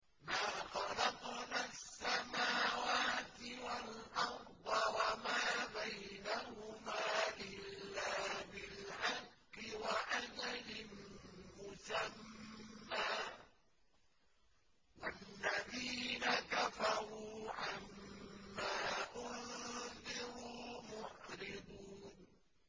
مَا خَلَقْنَا السَّمَاوَاتِ وَالْأَرْضَ وَمَا بَيْنَهُمَا إِلَّا بِالْحَقِّ وَأَجَلٍ مُّسَمًّى ۚ وَالَّذِينَ كَفَرُوا عَمَّا أُنذِرُوا مُعْرِضُونَ